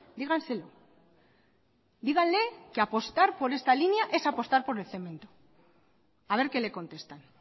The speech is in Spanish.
díganselo díganle que apostar por esta línea es apostar por el cemento a ver qué le contestan